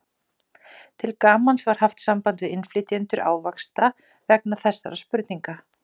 Til gamans var haft samband við innflytjendur ávaxta vegna þessarar spurningar.